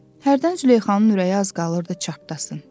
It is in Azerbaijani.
Hərdən Züleyxanın ürəyi az qalırdı çartdasın.